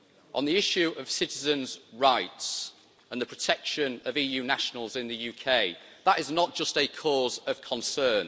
On the issue of citizens' rights and the protection of EU nationals in the UK, that is not just a cause of concern.